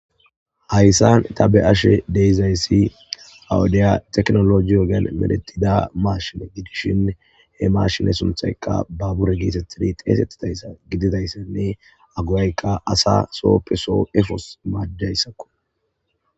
hayssan tabe ashe deyizayssi awudiya teknologi yogen medetida maashine gidishin he mashine sunthayka babure geetettidi xeesettidayssa gididayssenne aguwaykka asa sooppe soo efos majayssakko